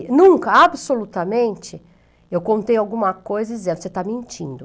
E nunca, absolutamente, eu contei alguma coisa e dizia, você está mentindo.